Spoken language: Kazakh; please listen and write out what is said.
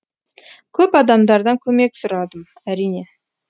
көп адамдардан көмек сұрадым әрине